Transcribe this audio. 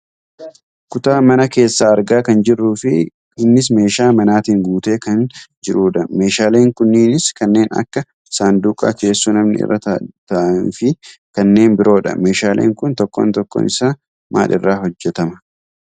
Kutaa mana keessaa argaa kan jirruufi innis meeshaa manaatiin guutee kan jirudha. Meeshaalee n kunniinis kanneen akka saanduqaa teessoo namni irra taa'imuufi kanneen biroodha . Meeshaaleen kun tokkoon tokkoon isaa maal irraa hojjatama?